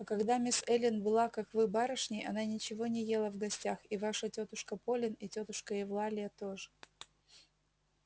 а когда мисс эллин была как вы барышней она ничего не ела в гостях и ваша тётушка полин и тётушка евлалия тоже